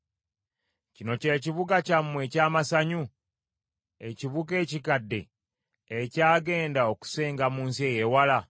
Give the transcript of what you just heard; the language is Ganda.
Kino kye kibuga kyammwe eky’amasanyu, ekibuga ekikadde, ekyagenda okusenga mu nsi eyeewala?